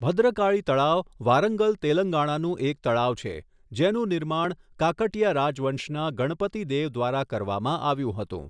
ભદ્રકાળી તળાવ વારંગલ, તેલંગાણાનું એક તળાવ છે જેનું નિર્માણ કાકટીયા રાજવંશના ગણપતિ દેવ દ્વારા કરવામાં આવ્યું હતું.